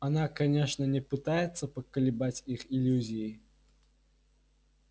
она конечно не пытается поколебать их иллюзий